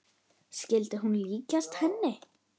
Skyldi hún líkjast henni?